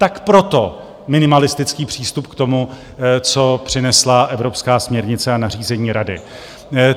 Tak proto minimalistický přístup k tomu, co přinesla evropská směrnice a nařízení Rady.